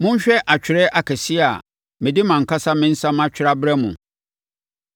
Monhwɛ atwerɛ akɛseɛ a mede mʼankasa me nsa matwerɛ abrɛ mo.